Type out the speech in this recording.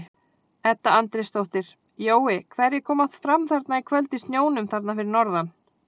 Edda Andrésdóttir: Jói hverjir koma fram þarna í kvöld í snjónum þarna fyrir norðan?